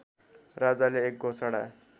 राजाले एक घोषणा